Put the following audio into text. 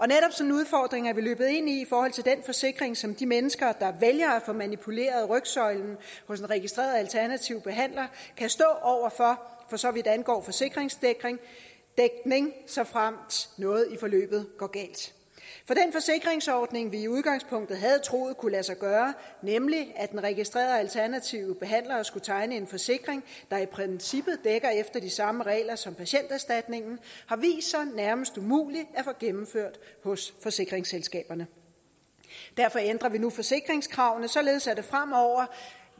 udfordring er vi løbet ind i i forhold til den forsikring som de mennesker der vælger at få manipuleret rygsøjlen hos en registreret alternativ behandler kan stå over for for så vidt angår forsikringsdækning såfremt noget i forløbet går galt den forsikringsordning vi i udgangspunktet havde troet kunne lade sig gøre nemlig at den registrerede alternative behandler skulle tegne en forsikring der i princippet dækker efter de samme regler som patienterstatningen har vist sig nærmest umulig at få gennemført hos forsikringsselskaberne derfor ændrer vi nu forsikringskravene således at det fremover